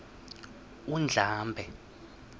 undlambe